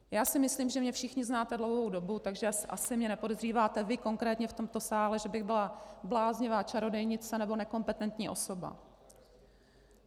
Já si myslím, že mě všichni znáte dlouhou dobu, takže asi mě nepodezříváte vy konkrétně v tomto sále, že bych byla bláznivá čarodějnice nebo nekompetentní osoba.